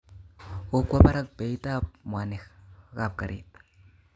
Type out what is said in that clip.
Kokwa barak beit tab mwanik kab garit